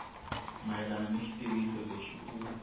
mayelana ni xitiviso lexi u